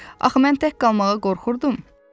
Axı mən tək qalmağa qorxurdum!